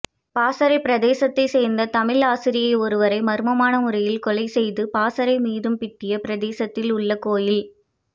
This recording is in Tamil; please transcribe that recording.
பசறை பிரதேசத்தை சேர்ந்த தமிழ் ஆசிரியை ஒருவரை மர்மமான முறையில் கொலை செய்து பசறை மீதும்பிட்டிய பிரதேசத்தில் உள்ள கோயில்